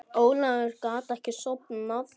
Ólafur gat ekki sofnað.